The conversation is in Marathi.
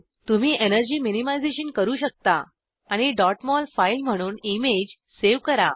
तुम्ही एनर्जी मिनिमाइज़ेशन करू शकता आणि डॉट मोल फाईल म्हणून इमेज सेव करा